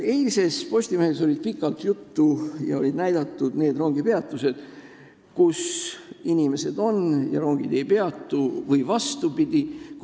Eilses Postimehes oli sellest pikalt juttu ja olid näidatud rongipeatused, kus inimesed on ja rongid ei peatu või vastupidi.